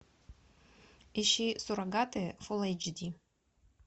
ищи суррогаты фулл эйч ди